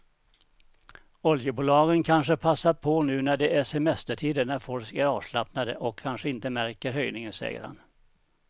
Oljebolagen kanske passar på nu när det är semestertider när folk är avslappnade och kanske inte märker höjningen, säger han.